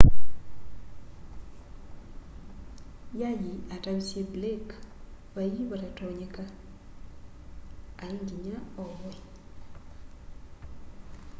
y'ay'i atavisye blake vai vatatonyeka ai nginya ovwe